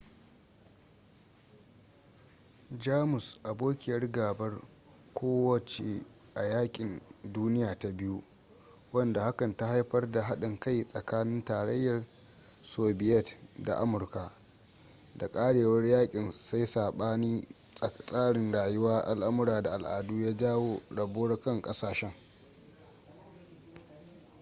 jamus abokiyar gabar kowa ce a yakin duniya ta 2 wanda hakan ta haifar da haɗin kai tsakanin tarayyar sobiyet da amurka da ƙarewar yakin sai sabanin tsarin rayuwa al'amura da al'adu ya jawo rabuwar kan ƙasashen